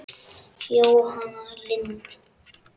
Jóhanna Lind.